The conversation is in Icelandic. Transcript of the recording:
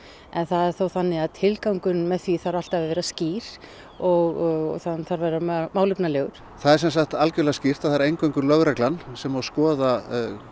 en það er þó þannig að tilgangurinn með því þarf alltaf að vera skýr og hann þarf að vera málefnalegur það er sem sagt algjörlega skýrt að það er eingöngu lögreglan sem má skoða